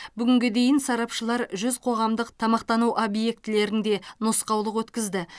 бүгінге дейін сарапшылар жүз қоғамдық тамақтану объектілерінде нұсқаулық өткізді